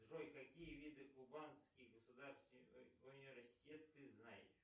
джой какие виды кубанский государственный университет ты знаешь